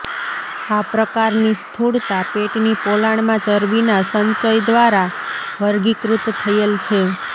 આ પ્રકારની સ્થૂળતા પેટની પોલાણમાં ચરબીના સંચય દ્વારા વર્ગીકૃત થયેલ છે